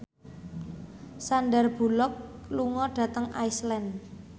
Sandar Bullock lunga dhateng Iceland